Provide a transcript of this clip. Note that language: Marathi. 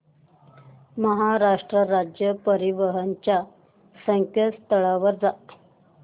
महाराष्ट्र राज्य परिवहन च्या संकेतस्थळावर जा